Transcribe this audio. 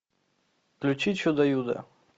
включи чудо юдо